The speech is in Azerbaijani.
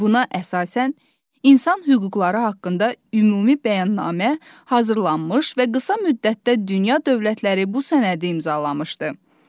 Buna əsasən, insan hüquqları haqqında ümumi bəyannamə hazırlanmış və qısa müddətdə dünya dövlətləri bu sənədi imzalamışdı.